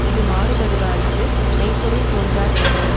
இது மாறுபடுவார்க்கு மெய் பொருள் தோன்றாதென்றது